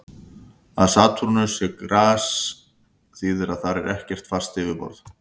Að Satúrnus sé gasrisi þýðir að þar er ekkert fast yfirborð.